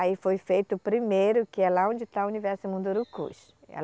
Aí foi feito o primeiro, que é lá onde está o universo Mundurukus.